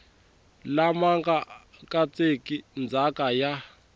lama nga katseki ndzhaka ya